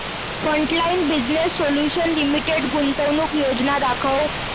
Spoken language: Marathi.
फ्रंटलाइन बिजनेस सोल्यूशन्स लिमिटेड गुंतवणूक योजना दाखव